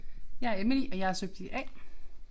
Jeg er Emily og jeg er subjekt A